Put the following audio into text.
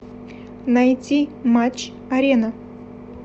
найти матч арена